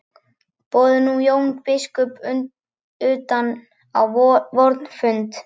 Boðum nú Jón biskup utan á vorn fund.